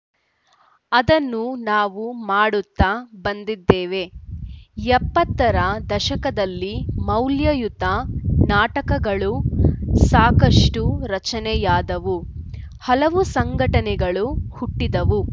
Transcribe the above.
ಅದನ್ನು ನಾವು ಮಾಡುತ್ತಾ ಬಂದಿದ್ದೇವೆ ಎಪ್ಪತ್ತರ ದಶಕದಲ್ಲಿ ಮೌಲ್ಯಯುತ ನಾಟಕಗಳು ಸಾಕಷ್ಟುರಚನೆಯಾದವು ಹಲವು ಸಂಘಟನೆಗಳು ಹುಟ್ಟಿದವು